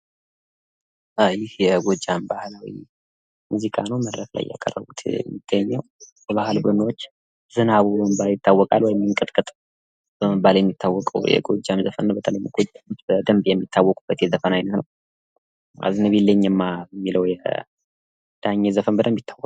ይህ የጎጃም ባህላዊ ሙዚቃ ነው መድረክ ላይ ያቀረቡት የሚገኘው። የባህል ቡድኖች ዝናቡ በመባል ይታወቅል። ወይም እንቅጥቅጥ በመባል የሚታወቀው የጎጃም ዘፈን ነው። በተለይ በጎጃም በደምብ የሚታወቁበት የዘፈን አይነት ነው። አዝንቢልኝ እማ የሚለው የዳንኤል ዘፈን በደምብ ይታወቃል።